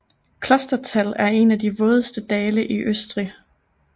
Klostertal er en af de vådeste dale i Østrig